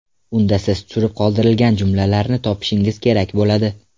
Unda siz tushirib qoldirilgan jumlalarni topishingiz kerak bo‘ladi.